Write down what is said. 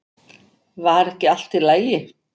Var ekki allt í lagi?